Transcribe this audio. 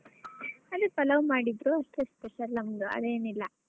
ಅದೇ ಪಲಾವ್ ಮಾಡಿದ್ರು ಅದೇ special ನಮ್ದು ಅದೇನಿಲ್ಲ.